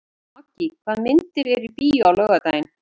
Maggý, hvaða myndir eru í bíó á laugardaginn?